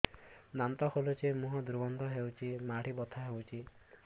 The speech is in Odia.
ଦାନ୍ତ ହଲୁଛି ମୁହଁ ଦୁର୍ଗନ୍ଧ ହଉଚି ମାଢି ବଥା ହଉଚି